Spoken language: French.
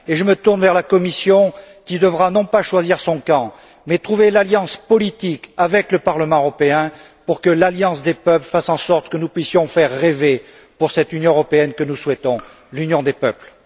Et je me tourne vers la Commission, qui devra, non pas choisir son camp, mais trouver l'alliance politique avec le Parlement européen, pour que l'alliance des peuples fasse en sorte que nous puissions faire rêver pour cette Union européenne que nous souhaitons, l'Union des peuples.